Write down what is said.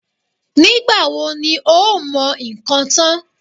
Nígbà wo ni o ó mọ nǹkan tán?